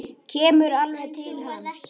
Kemur alveg til hans.